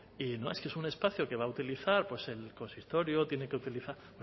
y no es que es un espacio que va a utilizar el consistorio tiene que utilizar